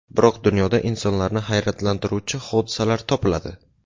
Biroq dunyoda insonlarni hayratlantiruvchi hodisalar topiladi.